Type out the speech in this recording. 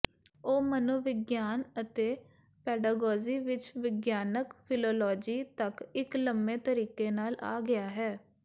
ਉਹ ਮਨੋਵਿਗਿਆਨ ਅਤੇ ਪੈਡਾਗੋਜੀ ਵਿੱਚ ਵਿਗਿਆਨਕ ਫ਼ਿਲਾਲੋਜੀ ਤੱਕ ਇੱਕ ਲੰਮੇ ਤਰੀਕੇ ਨਾਲ ਆ ਗਿਆ ਹੈ